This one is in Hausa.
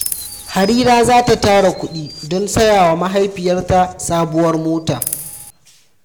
Harira za ta tara kudi don saya wa mahaifiyarta sabuwar mota.